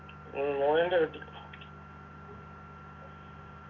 ഉം മോഹന്റെ വീട്ടി